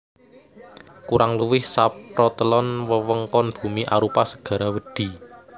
Kurang luwih saprotelon wewengkon bumi arupa segara wedhi